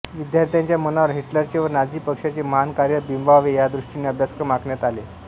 विध्यार्थ्यांच्या मनावर हिटलरचे व नाझी पक्षाचे महान कार्य बिंबवावे या दृष्टीने अभ्यासक्रम आखण्यात आले